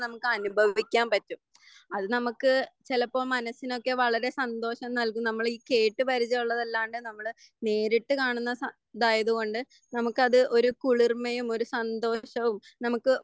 നമുക്ക് അനുഭവിക്കാൻ പറ്റും. അത് നമുക്ക് ചിലപ്പോ മനസ്സിനൊക്കെ വളരെ സന്തോഷം നൽകും. നമ്മളീ കേട്ട് പരിജയം ഉള്ളത് അല്ലാണ്ട് നമ്മള് നേരിട്ട് കാണുന്ന സ ഇതായത് കൊണ്ട് നമുക്കത് ഒരു കുളിർമയും ഒരു സന്തോഷവും നമുക്ക്